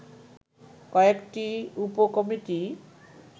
কয়েকটি উপ কমিটি